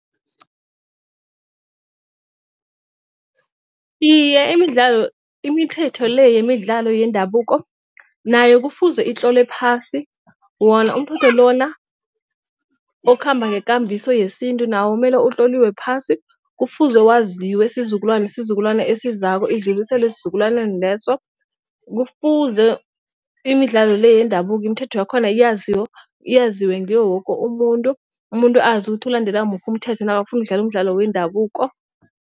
Iye, imidlalo imithetho le yemidlalo yendabuko nayo kufuze itlolwe phasi. Wona umthetho lona okhamba ngekambiso yesintu nawo kumele utloliwe phasi. Kufuze waziwe isizukulwana sizukulwana esizako idluliselwe esizukulwaneni leso. Kufuze imidlalo le yendabuko imithetho yakhona yaziwe. Yaziwe nguwo woke umuntu. Umuntu azi ukuthi ulandela muphi umthetho nakafuna ukudlala umdlalo wendabuko.